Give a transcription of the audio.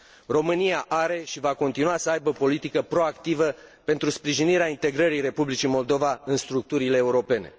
România are și va continua să aibă o politică proactivă pentru sprijinirea integrării Republicii Moldova în structurile europene.